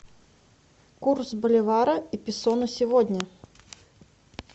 курс боливара и песо на сегодня